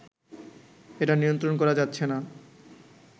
এটা নিয়ন্ত্রণ করা যাচ্ছে না